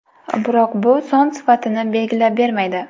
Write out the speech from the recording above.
Biroq bu son sifatni belgilab bermaydi.